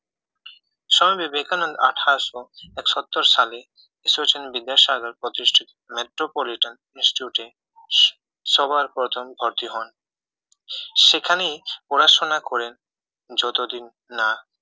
স্বামী বিবেকানন্দ আঠারোশো এক সত্তর সালে ঈশ্বরচন্দ্র বিদ্যাসাগর প্রতিষ্ঠিত মেট্রোপলিটন institute এ সবার প্রথম ভর্তি হন সেখানেই পড়াশোনা করেন যতদিন না